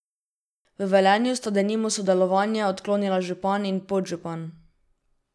V Velenju sta denimo sodelovanje odklonila župan in podžupan.